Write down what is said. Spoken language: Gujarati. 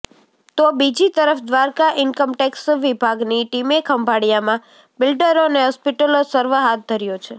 તો બીજી તરફ દ્વારકા ઈન્કમટેક્સ વિભાગની ટીમે ખંભાળિયામાં બિલ્ડરો અને હોસ્પિટલો સર્વે હાથ ધર્યો છે